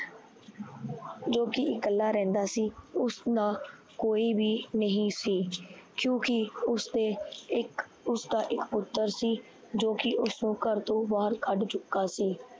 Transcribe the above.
ਜੋ ਕੀ ਇਕੱਲਾ ਰਹਿੰਦਾ ਸੀ। ਉਸ ਨਾਲ ਕੋਈ ਵੀ ਨਹੀਂ ਸੀ ਕਿਉਕਿ ਉਸਦਾ ਇੱਕ ਪੁੱਤਰ ਸੀ। ਜੋ ਕੀ ਉਸਨੂੰ ਘਰ ਤੋਂ ਬਹਰ ਕੱਡ ਚੁੱਕਾ ਸੀ।